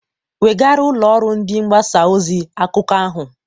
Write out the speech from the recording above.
Wegaara ụlọ ọrụ ndị mgbasa ozi akụkọ ahụ!